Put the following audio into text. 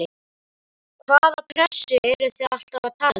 Hvaða pressu eruð þið alltaf að tala um?